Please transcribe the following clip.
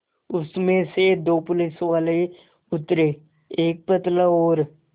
उसमें से दो पुलिसवाले उतरे एक पतला और